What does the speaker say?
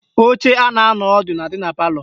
Oche a na-anọ ọdụ na-adị na palọ